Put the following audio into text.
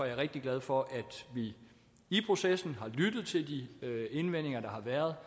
jeg rigtig glad for at vi i processen har lyttet til de indvendinger der har været